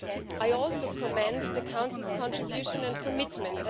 I also commend the Council's contribution and commitment.